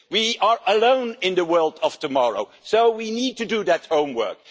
We are alone in the world of tomorrow, so we need to do that homework.